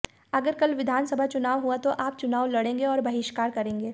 अगर कल विधानसभा चुनाव हुआ तो आप चुनाव लड़ेंगे या बहिष्कार करेंगे